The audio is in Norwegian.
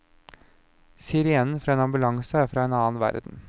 Sirenen fra en ambulanse er fra en annen verden.